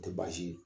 Tɛ baasi ye